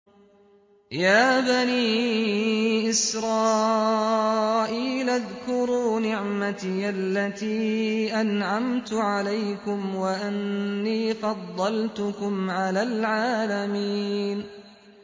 يَا بَنِي إِسْرَائِيلَ اذْكُرُوا نِعْمَتِيَ الَّتِي أَنْعَمْتُ عَلَيْكُمْ وَأَنِّي فَضَّلْتُكُمْ عَلَى الْعَالَمِينَ